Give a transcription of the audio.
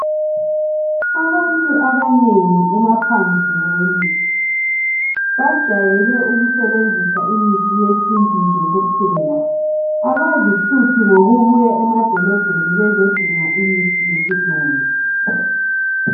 Abantu abanengi emaphandleni, bajayele ukusebenzisa imithi yesintu nje kuphela, abazihluphi ngokubuya emadolobheni bezodinga imithi yesilungu